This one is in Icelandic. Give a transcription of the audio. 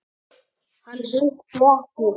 Hann hitti ekki.